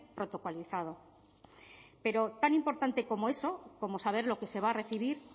protocolizado pero tan importante como eso como saber lo que se va a recibir